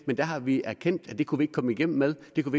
men der har vi erkendt at det kunne vi ikke komme igennem med det kunne